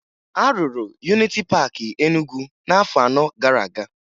A rụrụ Yuniti Paakị Enugwu n'afọ anọ gara aga